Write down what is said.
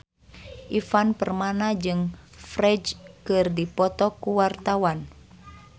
Ivan Permana jeung Ferdge keur dipoto ku wartawan